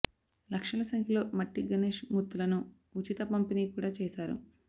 లక్షల సంఖ్యలో మట్టి గణేశ్ మూర్తులను ఉచిత పంపిణీ కూడా చేశారు